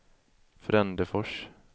Frändefors